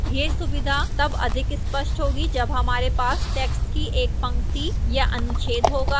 यह सुविधा तब अधिक स्पष्ट होगी जब हमारे पास text की एक पंक्ति या अनुच्छेद होगा